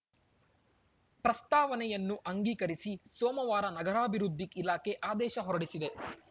ಪ್ರಸ್ತಾವನೆಯನ್ನು ಅಂಗೀಕರಿಸಿ ಸೋಮವಾರ ನಗರಾಭಿವೃದ್ಧಿ ಇಲಾಖೆ ಆದೇಶ ಹೊರಡಿಸಿದೆ